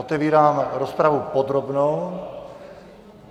Otevírám rozpravu podrobnou.